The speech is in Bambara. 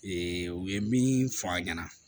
u ye min fɔ a ɲɛna